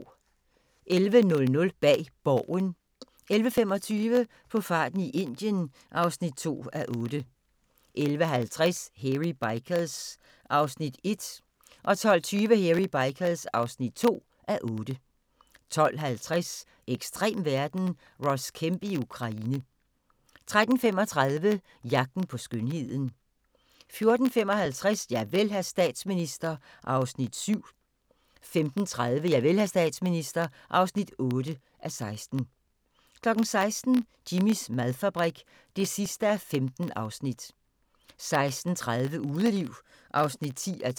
11:00: Bag Borgen 11:25: På farten i Indien (2:8) 11:50: Hairy Bikers (1:8) 12:20: Hairy Bikers (2:8) 12:50: Ekstrem verden – Ross Kemp i Ukraine 13:35: Jagten på skønheden 14:55: Javel, hr. statsminister (7:16) 15:30: Javel, hr. statsminister (8:16) 16:00: Jimmys madfabrik (15:15) 16:30: Udeliv (10:12)